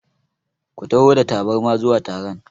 Ku taho da tabarma zuwa taron!